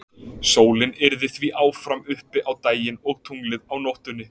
Sólin yrði því áfram uppi á daginn og tunglið á nóttunni.